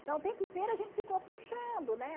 Então o tempo inteiro a gente ficou puxando, né?